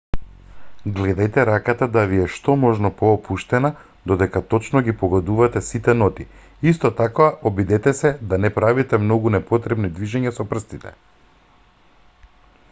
гледајте раката да ви е што е можно поопуштена додека точно ги погодувате сите ноти исто така обидете се да не правите многу непотребни движења со прстите